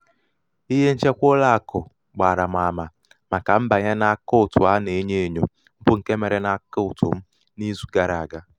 ihe nchekwa ụlọàkụ̀ gbààrà m àmà màkà mbànye n’àkaụ̀ǹtụ̀ a nà-enyo ènyo bụ ṅke mere n’àkaụ̀ǹtụ̀ m n’izu gara àga.